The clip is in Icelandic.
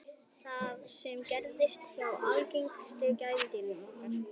það sama gerist hjá algengustu gæludýrum okkar